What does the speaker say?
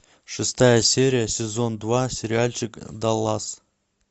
шестая серия сезон два сериальчик даллас